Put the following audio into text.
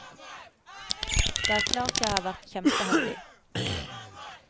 Det er klart jeg har vært kjempeheldig.